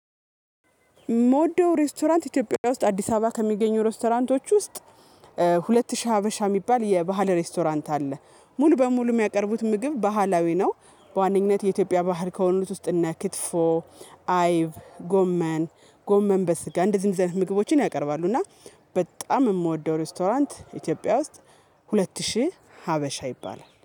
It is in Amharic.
ምወደው ሬስቶራንት ኢትዮጵያ ውስጥ አዲስ አበባ ከሚገኙ ሬስቶራንቶች ውስጥ ሁለት ሺህ ሀበሻ የሚባል የባህል ሬስቶራንት አለ ሙሉ በሙሉ የሚያቀርቡት ምግብ ባህላዊ ነው በዋነኝነት የኢትዮጵያ ባህል ከሆኑት ውስጥ እና ክትፎ፣ አይብ፣ ጎመን፣ ጎመን በስጋ እንደዚህ እንደዚህ አይነት ምግቦችን ያቀርባሉ እና በጣም የምወደው ሬስቶራንት ኢትዮጵያ ውስጥ ሁለት ሺህ ሀበሻ ይባላል።